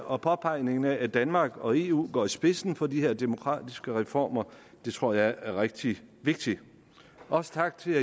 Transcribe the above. og påpegningen af at danmark og eu går i spidsen for de her demokratiske reformer det tror jeg er rigtig vigtigt også tak til